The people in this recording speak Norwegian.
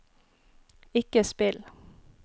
ikke spill